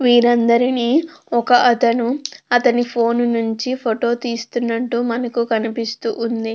వీరందరిని ఒక అతను అతని ఫోన్ నించి ఫోటో తీస్తునట్టు మనకు కనిపిస్తూ ఉంది.